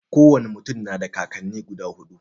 Ko wane mutum na da kakanni guda huɗu.